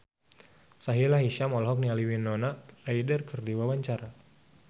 Sahila Hisyam olohok ningali Winona Ryder keur diwawancara